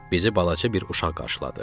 Bizi balaca bir uşaq qarşıladı.